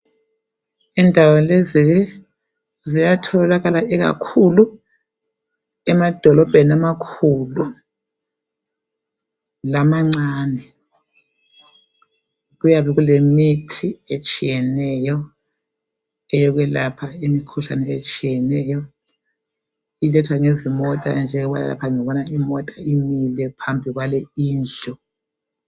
Indawo lezi ziyatholakala ikakhulu emadolobheni amakhulu lamancane. Kuyabe kulemithi etshiyeneyo eyokwelapha imikhuhlane etshiyeneyo ilethwa ngezimota njengobana lapha ngibona imota imile phambi kwale indlu.